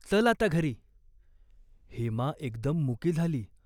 चल आता घरी." हेमा एकदम मुकी झाली.